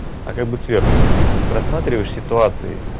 а как бы сверху и просматриваешь ситуации